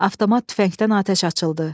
Avtomat tüfəngdən atəş açıldı.